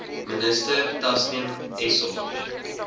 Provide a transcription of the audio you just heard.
minister tasneem essop